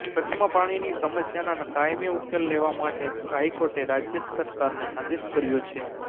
કચ્છમાં પાણીની સમસ્યાના કાયમી ઉકેલ લેવા માટે હાઈકોર્ટે રાજય સરકારને આદેશ કર્યો છે